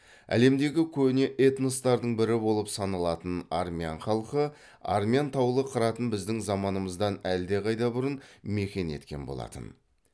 әлемдегі көне этностардың бірі болып саналатын армян халқы армян таулы қыратын біздің заманымыздан әлдеқайда бұрын мекен еткен болатын